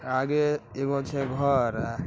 आगे एगो छे घर।